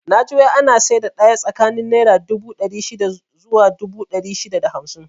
Naji wai ana saida daya tsakanin naira dubu ɗari shida zuwa dubu ɗari shida da hamsin